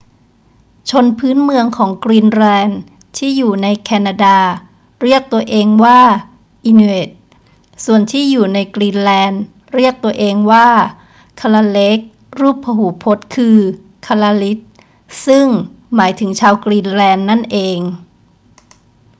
ชนพื้นเมืองของกรีนแลนด์ที่อยู่ในแคนาดาเรียกตัวเองว่า inuit ส่วนที่อยู่ในกรีนแลนด์เรียกตัวเองว่า kalaalleq รูปพหูพจน์คือ kalaallit ซึ่งหมายถึงชาวกรีนแลนด์นั่นเอง